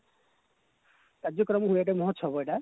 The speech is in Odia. କାର୍ଯ୍ୟକ୍ରମ ହୁଏ ଏଠି ମହୋତ୍ସବ ଏଟା